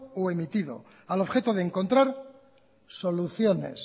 o emitido al objeto de encontrar soluciones